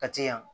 Kati yan